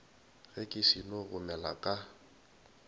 ge ke seno gomela ka